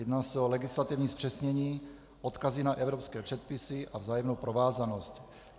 Jedná se o legislativní zpřesnění, odkazy na evropské předpisy a vzájemnou provázanost.